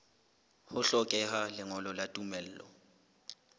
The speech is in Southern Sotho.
ho hlokeha lengolo la tumello